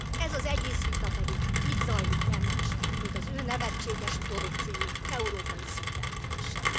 Ez az egész vita pedig, ami itt zajlik, nem más, mint az ő nevetséges produkciójuk európai szintre emelése.